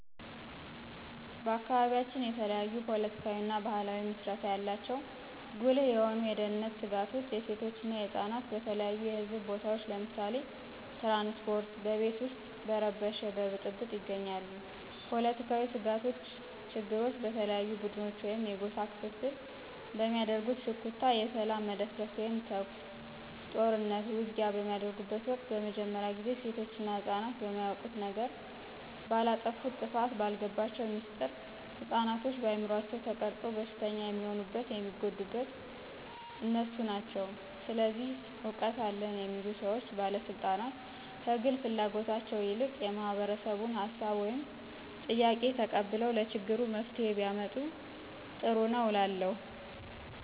በአካባቢያችን የተለያዩ ፓለቲካዊና ባህላዊ መስረታው ያላቸው ጉልህ የሆኑ የደህንነት ስጋቶች የሴቶች እና የህፃናት በተለያዩ የህዝብ ቦታዎች ለምሳሌ ትራንስፓርት፣ በቤት ውስጥ በረበሽ በብጥብጥ ይገኛሉ። ፖለትካዊ ስጋቶች ችግሮች በተለያዩ ቡድኖች ወይም የጎሳ ክፍፍል በሚያደርጉት ሽኩቻ የሰላም መደፍረስ ወይም ተኩስ፣ ጦርኑት፣ ውጊያ በሚደርጉበት ወቅት በመጀመርያ ጊዜ ሴቶች እና ህፅናት በማያውቁት ነገር፣ ባላጠፉት ጥፋት፣ ባልገባቸው ሚስጥር፣ ህፅናቶችን በአምሯቸው ተቀርፆ በሽተኛ የሚሆኑት የሚጎዱት እነሱ ናቸው። ስለዚህ እውቀት አለን የሚሉ ሰዎች ባለስልጣናት ከግል ፍላጎታቸው ይልቅ የማህበረሰቡን ሀሳብ ወይም ጥያቄ ተቀብለው ለችግሩ መፍትሄ ቢያመጡ ጥሩ ነው እላለሁ።